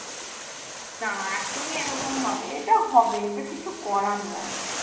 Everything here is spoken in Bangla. না এখনই এরকম হবে এটা হবে এটার কিছু করার নাই